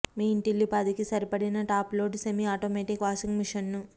మీ ఇంటిల్లిపాదికి సరిపడిన top load semi automatic washing machine ను